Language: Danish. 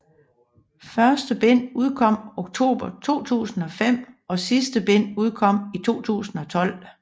Første bind udkom oktober 2005 og det sidste bind udkom i 2012